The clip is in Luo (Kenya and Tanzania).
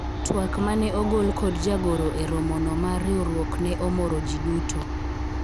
twak mane ogol kod jagoro e romo no mar riwruok ne omoro jii duto